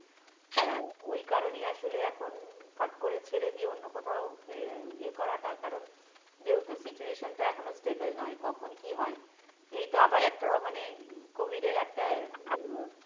তো ওই কারণই আসলে এখন ফট করে ছেড়ে দিয়ে অন্য কোথাও ইয়ে ইয়ে করাটা কারণ যেহেতু situation টা এখনো stable নয় কখন কী হয়, এই তো আবার একটা মানে COVID এর একটা আহ